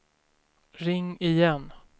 ring igen